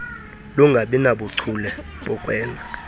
lungabi nabuchule bokwenza